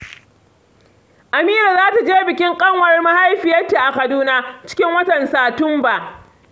Amira za ta je bikin ƙanwar mahaifiyarta a Kaduna, cikin watan Satumba